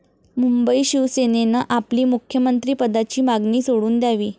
मुंबई शिवसेनेनं आपली मुख्यमंत्री पदाची मागणी सोडून द्यावी.